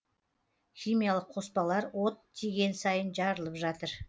химиялық қоспалар от тиген сайын жарылып жатыр